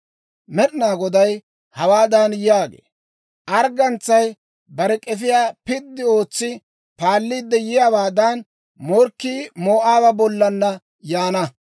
Med'inaa Goday hawaadan yaagee; «Arggantsay bare k'efiyaa piddi ootsi paalliidde yiyaawaadan, morkkii Moo'aaba bollan yaana.